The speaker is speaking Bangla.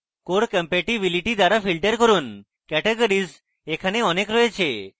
core compatibility দ্বারা filter করুনcategories এখানে অনেক রয়েছে